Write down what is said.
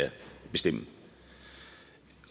bestemme